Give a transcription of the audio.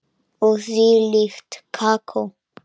Og hvílíkt kakó.